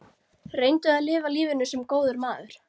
Reyndu að lifa lífinu- sem góður maður.